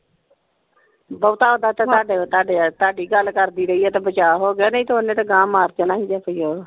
ਬਹੁਤ ਓਹਦਾ ਚੰਗਾ ਦਿਲ ਤਾੜੇ ਵਾਲ ਤਾੜੀ ਗੱਲ ਕਰਦੀ ਰਹੀ ਹੈ ਤੇ ਬਚਾ ਹੋਗਿਆ ਨਹੀਂ ਤੇ ਓਹਨੇ ਤੇ ਗਾਹ ਮਾਰ ਜਾਣਾ ਸੀ .